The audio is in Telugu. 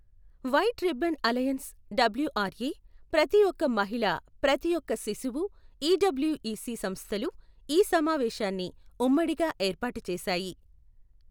వైట్ రిబ్బన్ అలయన్స్ డబ్ల్యుఆర్ఏ, ప్రతీ ఒక్క మహిళ ప్రతీ ఒక్క శిశువు ఇడబ్ల్యుఇసి సంస్థలు ఈ సమావేశాన్ని ఉమ్మడిగా ఏర్పాటు చేశాయి.